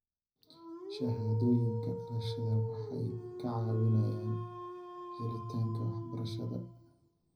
Shahaadooyinka dhalashada waxay ka caawiyaan helitaanka waxbarashada.